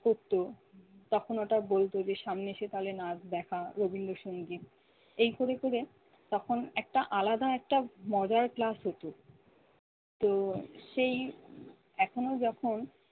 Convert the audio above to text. করতো তখন ওটা বলতো যে সামনে এসে তাহলে নাচ দেখা, রবীন্দ্র সঙ্গীত এই করে করে তখন একটা আলাদা একটা মজার ক্লাস হতো। তো সেই এখনো যখন